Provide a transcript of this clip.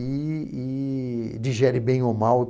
e e digere bem ou mal.